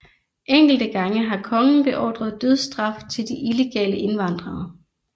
Enkelte gange har kongen beordret dødsstraf til de illegale indvandrere